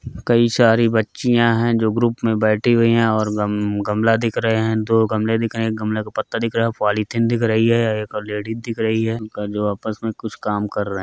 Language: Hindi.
कई सारी बच्चियां है जो ग्रुप में बैठी हुई है और गम-गमला दिख रहे है दो गमले दिख रहे है गमले का पत्ता दिख रहा है पॉलीथिन दिख रही है एक लेडीज दिख रही है उनका जो आपस में कुछ काम कर रहे --